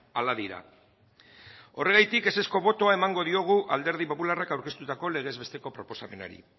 hala dira horregatik ezezko botoa emango diogu alderdi popularrak aurkeztutako legez besteko proposamenari